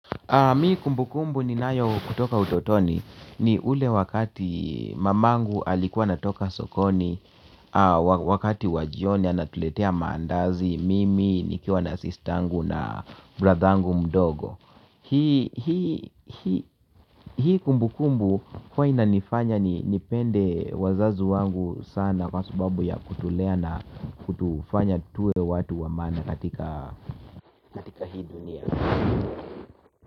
Mi kumbukumbu ninayo kutoka utotoni ni ule wakati mamangu alikuwa anatoka sokoni wakati wa jioni anatuletea maandazi mimi nikiwa na sister angu na brother angu mdogo. Hii kumbukumbu huwa inanifanya ni nipende wazazi wangu sana kwa subabu ya kutulea na kutufanya tuwe watu wa maana katika hi dunia.